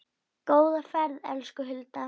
Góða ferð, elsku Hulda.